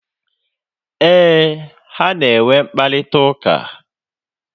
Éè, ha na enwe mkparịta ụka